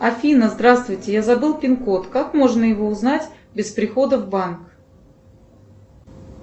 афина здравствуйте я забыл пин код как можно его узнать без прихода в банк